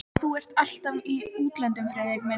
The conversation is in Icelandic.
Og þú ert alltaf í útlöndum, Friðrik minn